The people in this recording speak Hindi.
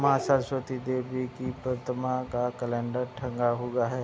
माँ सरस्वती देवी की प्रतिमा का कैलेंडर टंगा हुआ है।